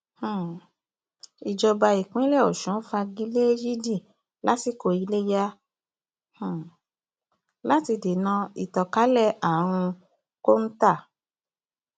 um ìjọba ìpínlẹ ọsùn fagi lé yídi yídi ìásikò iléyà um láti dènà ìtànkalẹ àrùn kọńtà